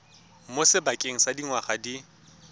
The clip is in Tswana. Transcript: mo sebakeng sa dingwaga di